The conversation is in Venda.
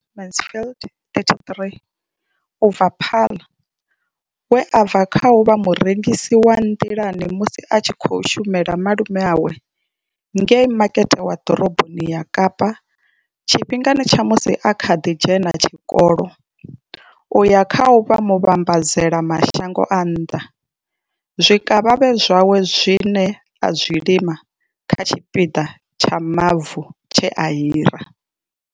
Mansfield 33 u bva Paarl, we a bva kha u vha murengisi wa nḓilani musi a tshi khou shumela malume awe ngei makete wa Ḓoroboni ya Kapa tshifhingani tsha musi a kha ḓi dzhena tshikolo u ya kha u vha muvhambadzela mashango a nnḓa zwikavhavhe zwawe zwine a zwi lima kha tshipiḓa tsha mavu tshe a hira.